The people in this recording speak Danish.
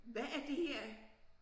Hvad er det her